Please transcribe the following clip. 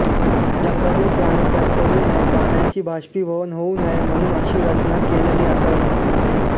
जंगलातील प्राणी त्यात पडू नये पाण्याचे बाष्पीभवन होऊ नये म्हणून् अशी रचना केलेली असावी